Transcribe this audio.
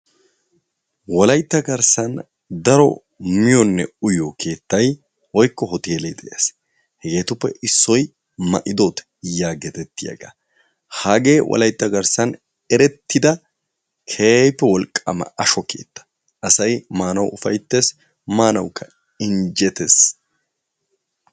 Wolaytta garssan daro miyonne uyiyo keettay woykko Hootele de'ees. Hegetuppe issoy Ma'idooti yaggeetiyaaga. hagee wolaytta garssan eretida keehippe wolqqama ashsho keetta. asay maanawu ufayttees maanawukka injjettees.